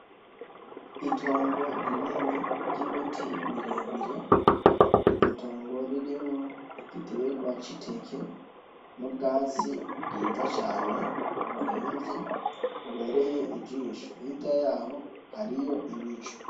Itongo rinini ry'ibiti birebire, iryotongo ririmwo igiterwa c'iteke nubwatsi bwiza cane buremvye bubereye ijisho , hirya yaho hariho ibicu .